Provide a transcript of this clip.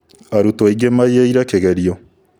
Arutwo aingĩ maiĩre kĩgerio